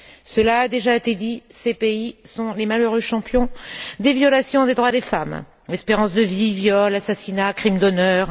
Cela a déjà été dit, ces pays sont les malheureux champions des violations des droits des femmes espérance de vie, viols, assassinats, crimes d'honneur.